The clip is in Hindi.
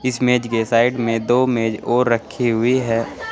इस मेज के साइड में दो मेज और रखी हुई है।